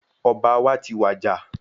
Ọba wa tí wàjà